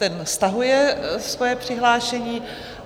Ten stahuje svoje přihlášení.